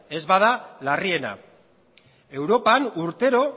ez bada larriena europan urtero